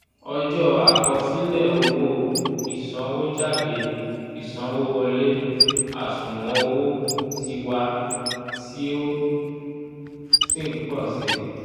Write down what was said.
ọjọ́ àkosílẹ̀ owó ìsanwójádé ìsanwówọlé àṣùwọ̀n owó tiwa tí ó sì n pọ̀ sí i